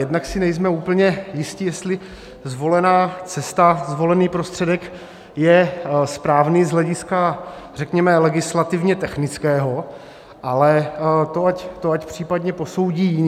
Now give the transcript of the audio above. Jednak si nejsme úplně jisti, jestli zvolená cesta, zvolený prostředek je správný z hlediska, řekněme, legislativně technického, ale to ať případně posoudí jiní.